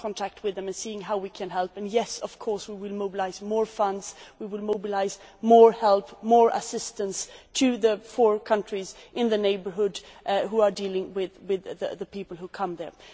We are in contact with them and seeing how we can help, and yes, of course, we will mobilise more funds, we will mobilise more help, more assistance to the four countries in the neighbourhood who are dealing with the people who arrive there.